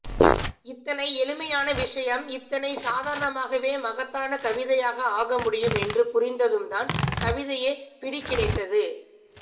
இத்தனை எளிமையான விஷயம் இத்தனை சாதாரணமாகவே மகத்தான கவிதையாக ஆகமுடியும் என்று புரிந்ததும்தான் கவிதையே பிடிகிடைத்தது